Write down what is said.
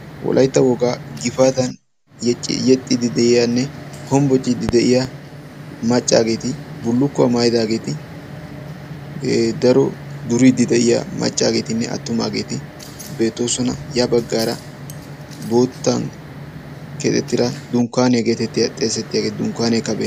wolaytta wogaa gifaatan yexxiidi de'iyanne hombbocciidi de'iyaa maccaageeti bullukkuwa maayidaageeti daro duriidi de'iyaa maccaageetinne attumaageeti beettoosona. ya baggaara bootan keexxetida dunkkaniya getettiyaa xeesetiyaagee dunkkanekka bee..